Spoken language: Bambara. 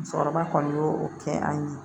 Musokɔrɔba kɔni y'o kɛ an ye